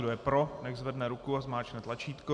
Kdo je pro, nechť zvedne ruku a zmáčkne tlačítko.